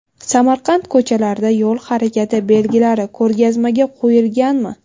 Samarqand ko‘chalarida yo‘l harakati belgilari ko‘rgazmaga qo‘yilganmi?.